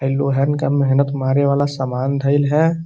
हई लोहन का मेहनत मारे वाला समान धइल है।